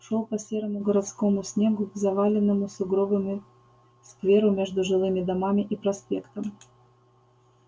шёл по серому городскому снегу к заваленному сугробами скверу между жилыми домами и проспектом